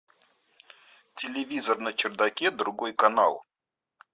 телевизор на чердаке другой канал